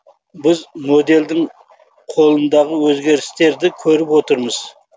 біз модельдің қолындағы өзгерістерді көріп отырмыз